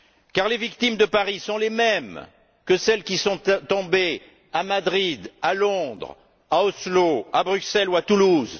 Car les victimes de Paris sont les mêmes que celles qui sont tombées à Madrid, à Londres, à Oslo, à Bruxelles ou à Toulouse.